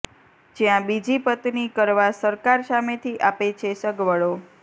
જ્યાં બીજી પત્ની કરવા સરકાર સામેથી આપે છે સગવડો